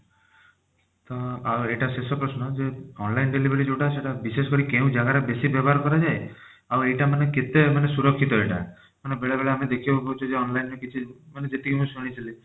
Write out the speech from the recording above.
ତ ଆଉ ଏଇଟା ଶେଷ ପ୍ରଶ୍ନ ଯେ online delivery ଯଉଟା ସେଟା ବିଶେଷ କରି କେଉଁ ଜାଗାରେ ବେଶି ବ୍ୟବହାର କରାଯାଏ ଆଉ ଏଇଟା ମାନେ କେତେ ମାନେ ସୁରକ୍ଷିତ ଏଟା ମାନେ ବେଳେ ବେଳେ ଆମେ ଦେଖିବାକୁ ପାଉଛେ ଯେ online ର କିଛି ମାନେ ଯେତିକି ମୁଁ ଶୁଣିଥିଲି